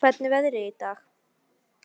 Lár, hvernig er veðrið í dag?